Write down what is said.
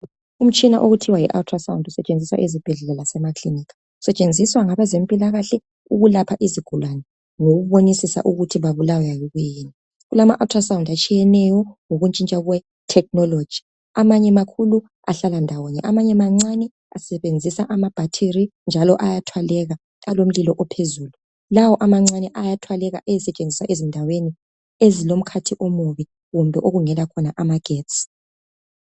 Umtshina okuthiwa yiAltrasound usetshenziswa ezibhedlela lasemaklinika. Usetshenziswa ngabezempilakahle ukulapha izigulane, ngokubonisisa ukuthi babulawa yikuyini. Kulama Altrasound atshiyeneyo, ngokutshintsha kwetechnology. Amanye makhulu, ahlala ndawonye. amanye nancane, asebenzisa amabhathiri, njalo ayathwaleka. Alomlilo ophezulu, Lawo amancane ayathwaleka, ayesetshenziswa endaweni ezilomkhathi omubi, kumbe okungela khona amagetsi.